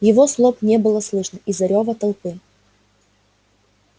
его слов не было слышно из-за рёва толпы